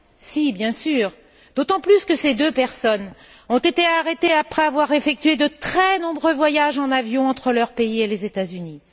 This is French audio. Si, bien sûr, d'autant plus que ces deux personnes ont été arrêtées après avoir effectué de très nombreux voyages en avion entre leur pays et les États Unis.